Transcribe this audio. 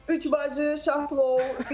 Üç bacı, şah plov.